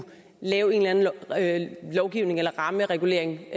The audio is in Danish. lave en eller anden lovgivning eller rammeregulering